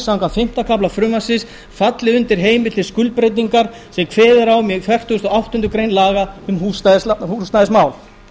samkvæmt fimmta kafla frumvarpsins falli undir heimild til skuldbreytingar sem kveðið er á um í fertugustu og áttundu grein laga um húsnæðismál